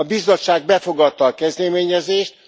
A Bizottság befogadta a kezdeményezést.